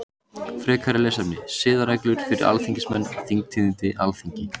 Frekara lesefni: Siðareglur fyrir alþingismenn Þingtíðindi Alþingi.